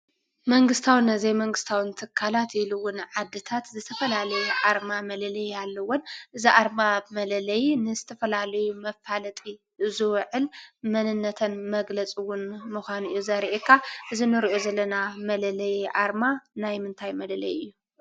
መንግስታዊን ዘይመንግስታዊን ትካላት ኢሉ እውን ዓድታት ዝተፈላለየ ኣርማ መለለዪ ኣለወን፡፡ እዚ ኣርማ መለለዪ ንዝተፈላለዩ መፋለጢ ዝውዕል መንነተን መግለፂ ምዃኑ እውን እዩ ዘሪአካ፡፡ እዚ ንሪኦ ዘለና መለለዪ ኣርማ ናይ ምንታይ መለለዪ እዩ?